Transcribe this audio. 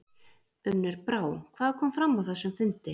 Unnur Brá, hvað kom fram á þessum fundi?